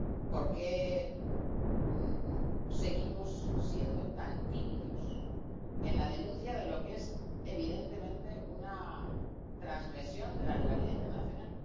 Por qué seguimos siendo tan tímidos en la denuncia de lo que es, evidentemente, una trasgresión de la legalidad internacional.